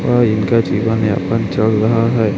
और इनका जीवन यापन चल रहा है।